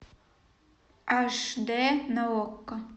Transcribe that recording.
аш д на окко